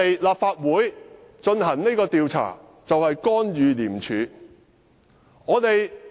立法會進行這項調查，是否干預廉署？